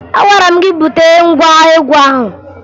Agwara m gị bute ngwa egwu ahụ!